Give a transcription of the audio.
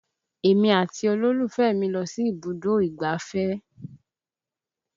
Èmi àti olólùfẹ́ mi lọ sí ibùdó ìgbáfẹ́